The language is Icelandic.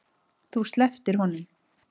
Þú slepptir honum.